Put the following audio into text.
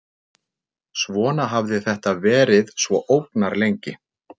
Svona hafði þetta verið svo ógnarlengi.